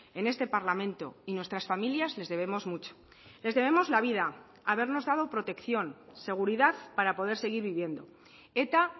en este parlamento y nuestras familias les debemos mucho les debemos la vida habernos dado protección seguridad para poder seguir viviendo eta